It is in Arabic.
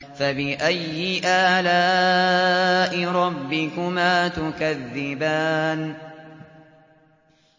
فَبِأَيِّ آلَاءِ رَبِّكُمَا تُكَذِّبَانِ